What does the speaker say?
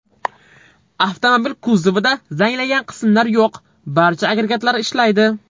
Avtomobil kuzovida zanglagan qismlar yo‘q, barcha agregatlar ishlaydi.